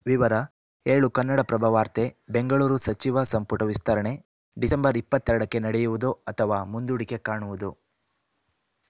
ವಿವರ ಏಳು ಕನ್ನಡಪ್ರಭ ವಾರ್ತೆ ಬೆಂಗಳೂರು ಸಚಿವ ಸಂಪುಟ ವಿಸ್ತರಣೆ ಡಿಸೆಂಬರ್ ಇಪತ್ತ ಎರಡಕ್ಕೆ ನಡೆಯುವುದೋ ಅಥವಾ ಮುಂದೂಡಿಕೆ ಕಾಣುವುದೋ